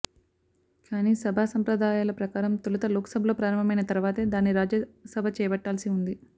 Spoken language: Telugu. కానీ సభాసంప్రదాయాల ప్రకారం తొలుత లోక్సభలో ప్రారంభమైన తర్వాతే దాన్ని రాజ్యసభ చేపట్టాల్సి ఉంది